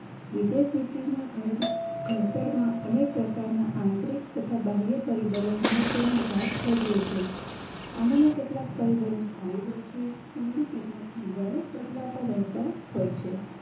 વિદેશનીતિના ઘડ ઘડતર માં અનેક પ્રકારના આંતરિક તથા બાહ્ય પરિબળો મહત્વનો ભાગ ભજવે છે આમાંના કેટલાક પરિબળો સ્થાયી હોય છે અને કેટલાક પરિબળો બદલાતા રહે તા હોય છે વ્યવસ્થા રહેતા હોય છે